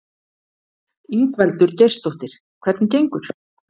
Ingveldur Geirsdóttir: Hvernig gengur?